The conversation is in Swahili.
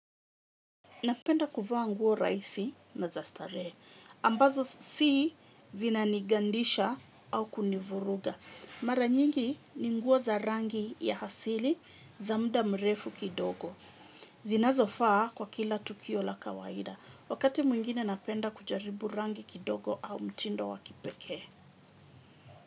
Napenda kuvaa nguo rahisi na za starehe, ambazo si zinanigandisha au kunivuruga. Mara nyingi ni nguo za rangi ya asili za muda mrefu kidogo. Zinazofaa kwa kila tukio la kawaida. Wakati mwingine napenda kujaribu rangi kidogo au mtindo wa kipekee.